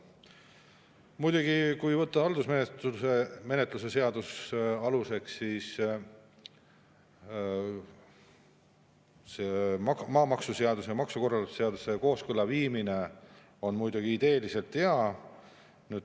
Muidugi, kui võtta haldusmenetluse seadus aluseks, siis see maamaksuseaduse ja maksukorralduse seaduse kooskõlla viimine on ideeliselt hea.